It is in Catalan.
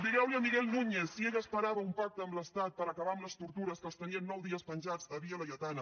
digueu li a miguel núñez si ell esperava un pacte amb l’estat per acabar amb les tortures que els tenien nou dies penjats a via laietana